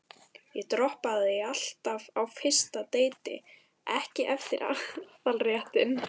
Ég droppaði því alltaf á fyrsta deiti, strax eftir aðalréttinn.